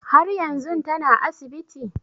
Har yanzun tana asibiti?